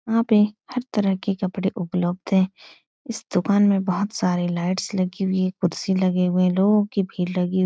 यहाँ पे हर तरह के कपड़े उपलब्ध हैं। इस दुकान में बोहोत सारे लाईटस लगी हुई हैकुर्सी लगे हुए हैलोगों कि भीड़ लगी हुइ --